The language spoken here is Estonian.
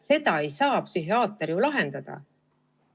Seda ei saa ju psühhiaater lahendada.